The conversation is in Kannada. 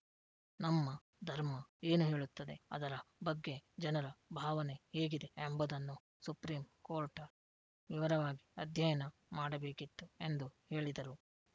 ನಮ್ಮ ಧರ್ಮ ಏನು ಹೇಳುತ್ತದೆ ಅದರ ಬಗ್ಗೆ ಜನರ ಭಾವನೆ ಹೇಗಿದೆ ಎಂಬುದನ್ನೂ ಸುಪ್ರೀಂ ಕೋರ್ಟ್ ವಿವರವಾಗಿ ಅಧ್ಯಯನ ಮಾಡಬೇಕಿತ್ತು ಎಂದು ಹೇಳಿದರು